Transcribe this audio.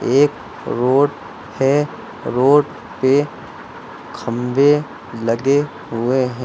एक रोड है रोड पे खंभे लगे हुए हैं।